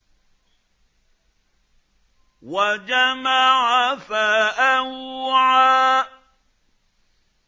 وَجَمَعَ فَأَوْعَىٰ